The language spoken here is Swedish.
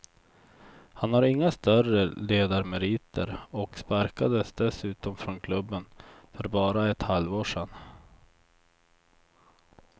Han har inga större ledarmeriter och sparkades dessutom från klubben för bara ett halvår sedan.